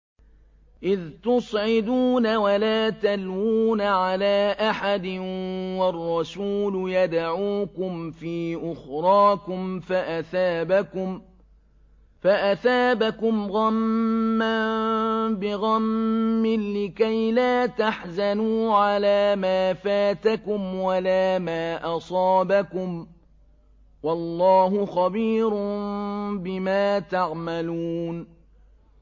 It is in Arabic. ۞ إِذْ تُصْعِدُونَ وَلَا تَلْوُونَ عَلَىٰ أَحَدٍ وَالرَّسُولُ يَدْعُوكُمْ فِي أُخْرَاكُمْ فَأَثَابَكُمْ غَمًّا بِغَمٍّ لِّكَيْلَا تَحْزَنُوا عَلَىٰ مَا فَاتَكُمْ وَلَا مَا أَصَابَكُمْ ۗ وَاللَّهُ خَبِيرٌ بِمَا تَعْمَلُونَ